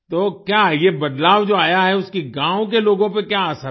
तो क्या ये बदलाव जो आया है उसकी गाँव के लोगों पे क्या असर है